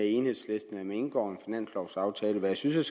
enhedslisten man indgår en finanslovaftale med det synes jeg